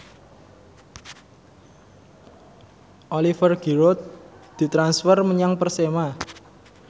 Oliver Giroud ditransfer menyang Persema